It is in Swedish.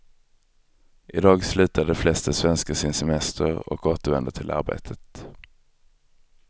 I dag slutar de flesta svenskar sin semester och återvänder till arbetet.